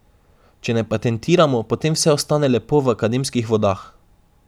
Če ne patentiramo, potem vse ostane lepo v akademskih vodah.